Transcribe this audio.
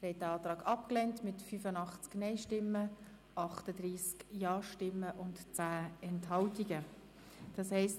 Sie haben den Antrag mit 85 Nein- zu 38 Ja-Stimmen bei 10 Enthaltungen abgelehnt.